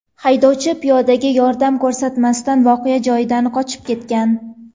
Haydovchi piyodaga yordam ko‘rsatmasdan voqea joyidan qochib ketgan.